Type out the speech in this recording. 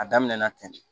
A daminɛna ten